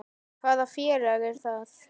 Hvaða félag er það?